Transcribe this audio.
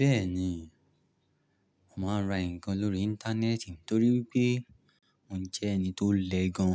Bẹ́ẹ̀ ni, mà á ra nǹkan lórí Íńtánẹ́ẹ̀tì nítorí pé mo jẹ́ ẹni tó lẹ́ gan.